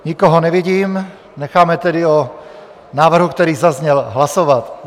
Nikoho nevidím, necháme tedy o návrhu, který zazněl, hlasovat.